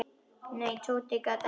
Nei, Tóti gat ekki beðið.